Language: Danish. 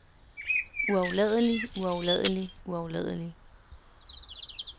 uafladelig uafladelig uafladelig